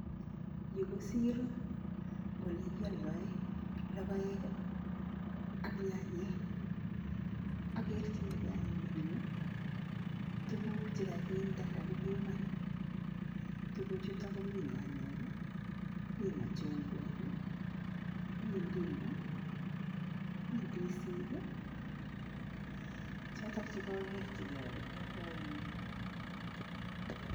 Yu ko siiro ole kialdoen logoek ak nyanyek, akerchinikei anyuun eng yu tuguk che kakinde kakipiman. Tuguchutu komi nyanyek, mi machungwek, mi ndimu, mi ndisik , choto che kakerchikei ale kialdoi eng yu.